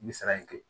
N bɛ sara in kɛ